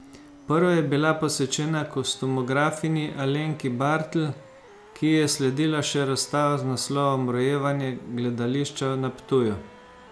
Prva je bila posvečena kostumografinji Alenki Bartl, ki ji je sledila še razstava z naslovom Rojevanje gledališča na Ptuju.